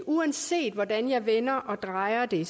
uanset hvordan jeg vender og drejer det